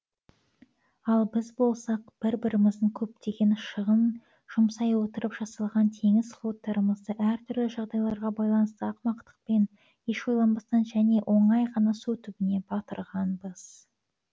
ал біз болсақ бір біріміздің көптеген шығын жұмсай отырып жасалған теңіз флоттарымызды әр түрлі жағдайларға байланысты ақымақтықпен еш ойланбастан және оңай ғана су түбіне батырғанбыз